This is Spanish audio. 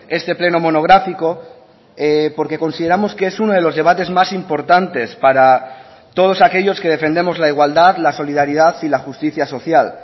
este pleno monográfico porque consideramos que es uno de los debates más importantes para todos aquellos que defendemos la igualdad la solidaridad y la justicia social